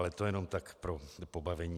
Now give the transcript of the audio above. Ale to jenom tak pro pobavení.